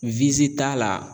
t'a la